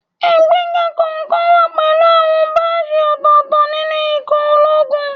Ìgbéga kọ̀ọ̀kan wá pẹ̀lú àwọn báàjì ọ̀tọ̀ọ̀tọ̀ nínú ikọ̀ ológun